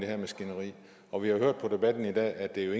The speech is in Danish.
her maskineri og vi har hørt på debatten i dag at der jo